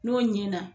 N'o ɲɛna